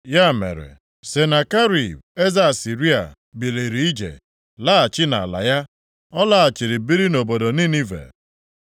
Ya mere, Senakerib, eze Asịrịa, biliri ije, laghachi nʼala ya. Ọ laghachiri biri nʼobodo Ninive.